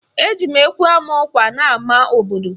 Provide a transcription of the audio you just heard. Eji ekwe ama ọkwa n'ama obodo